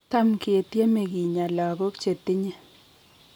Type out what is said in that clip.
Tam ke tieme kinyaa lagok chetinye